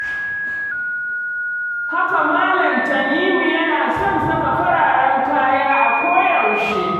Haka Malam Tanimu yana son saka fararen kaya a koyaushe.